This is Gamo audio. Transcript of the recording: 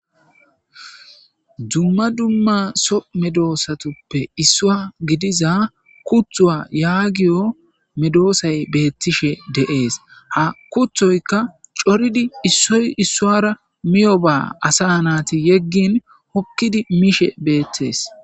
Dumma dumma Soo medosatappe issuwa gidaza kutuwa yagiyo medosayi betishshe dees.haa kutoyikka issoyi issuwara cooriddi miyobba asa nati yeginn hokkidd mishshe betees.